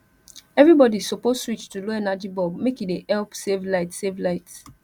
everybody suppose switch to low energy bulb make e dey help save light save light